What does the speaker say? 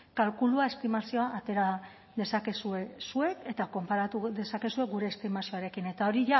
kalkulua estimazioa atera dezakezue zuek eta konparatu dezakezue gure estimazioarekin eta hori